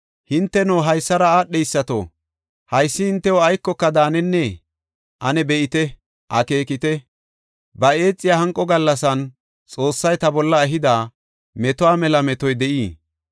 Hinteno, haysara aadheysato, haysi hintew aykoka daanennee? Ane be7ite; akeekite; ba eexiya hanqo gallasan, Xoossay ta bolla ehida metuwa mela metoy de7ii?